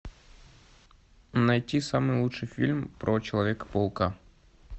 найти самый лучший фильм про человека паука